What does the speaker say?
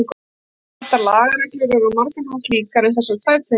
Settar lagareglur eru á margan hátt líkar um þessar tvær tegundir félaga.